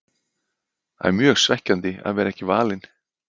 Það er mjög svekkjandi að vera ekki valinn.